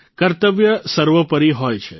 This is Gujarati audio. કર્તવ્ય સર્વોપરી હોય છે